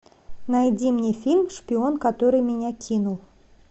найди мне фильм шпион который меня кинул